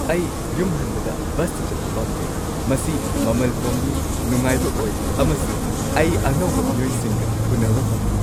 ꯑꯩ ꯌꯨꯝ ꯍꯟꯕꯗ ꯕꯁꯇ ꯆꯠꯄ ꯄꯥꯝꯖꯩ꯫ ꯃꯁꯤ ꯃꯃꯜ ꯍꯣꯡꯉꯤ, ꯅꯨꯡꯉꯥꯏꯕ ꯑꯣꯏ ꯑꯃꯁꯨꯡ ꯑꯩ ꯑꯅꯧꯕ ꯃꯤꯑꯣꯏꯁꯤꯡꯒ ꯎꯟꯅꯕ ꯐꯪꯉꯤ꯫